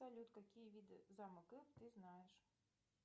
салют какие виды замок ты знаешь